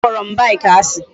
A kporo m bike asi